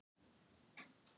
Nú, hvað gerið þið þá?